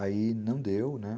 Aí não deu, né?